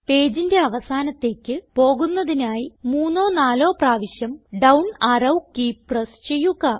പേജിന്റെ അവസാനത്തേക്ക് പോകുന്നതിനായി മൂന്നോ നാലോ പ്രാവശ്യം ഡൌൺ അറോ കീ പ്രസ് ചെയ്യുക